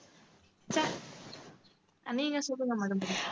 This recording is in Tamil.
அஹ் நீங்க சொல்லுங்க மது